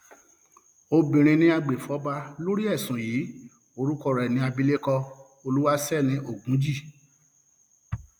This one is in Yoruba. obìnrin ni agbèfọba lórí ẹsùn yìí orúkọ rẹ ní abilékọ olúwaṣẹni ogunjì